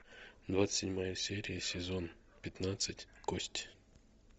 двадцать седьмая серия сезон пятнадцать кость